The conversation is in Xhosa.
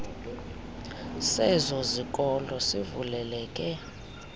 sezo zikolo sivuleleke